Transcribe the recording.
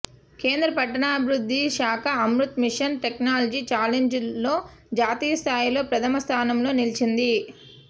కేంద్ర పట్టణాభివృద్ధి శాఖ అమృత్ మిషన్ టెక్నాలజీ ఛాలెంజ్ లో జాతీయ స్థాయిలో ప్రథమ స్థానంలో నిలిచింది